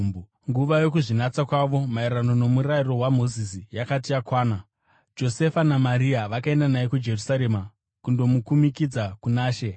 Nguva yokuzvinatsa kwavo maererano noMurayiro waMozisi yakati yakwana, Josefa naMaria vakaenda naye kuJerusarema kundomukumikidza kuna She